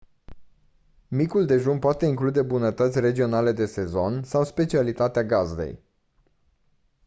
micul dejun poate include bunătăți regionale de sezon sau specialitatea gazdei